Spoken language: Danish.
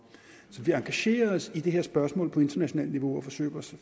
så vi engagerer os i det her spørgsmål på internationalt niveau og forsøger